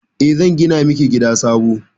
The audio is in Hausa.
E, zan gina miki gida sabo.